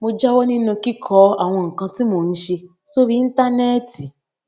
mo jáwó nínú kíkọ àwọn nǹkan tí mò ń ṣe sórí íńtánéètì